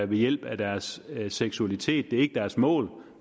ved hjælp af deres seksualitet det er ikke deres mål